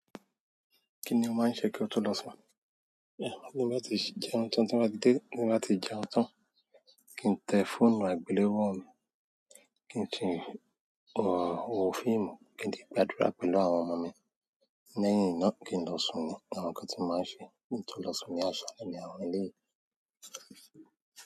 Kí ni o máa ń ṣe kí o tó lọ sùn? Bí mo bá ti jẹun tán, tí mo bá dé, bí mo bá ti jẹun tán, kí n tẹ fóònù àgbéléwò mi, kí n ti wo fíìmù, kí n dẹ̀ gbàdúrà pẹ̀lú àwọn ọmọ mi, lẹ́yìn náà kí n lọ sùn ni àwọn nǹkan tí mo máa ń ṣe kí n tó lọ sùn ní àṣálẹ́ ní àwọn eléyìí.